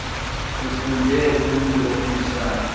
lufunde kumntu ofundisa